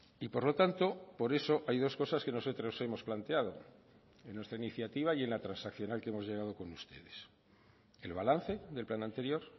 y por lo tanto por eso hay dos cosas que nosotros hemos planteado en nuestra iniciativa y en la transaccional que hemos llegado con ustedes el balance del plan anterior